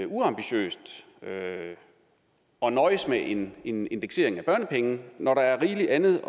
uambitiøst at nøjes med en en indeksering af børnepenge når der er rigeligt andet at